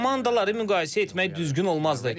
Komandaları müqayisə etmək düzgün olmazdı.